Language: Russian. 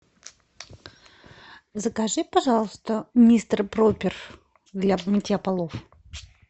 закажи пожалуйста мистер пропер для мытья полов